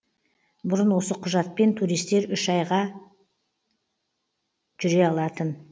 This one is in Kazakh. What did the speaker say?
бұрын осы құжатпен туристер үш ай ғана жүре алатын